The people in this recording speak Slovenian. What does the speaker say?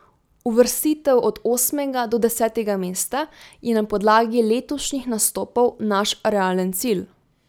Uvrstitev od osmega do desetega mesta je na podlagi letošnjih nastopov naš realen cilj.